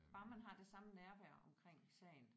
Bare man har det samme nærvær omkring sagen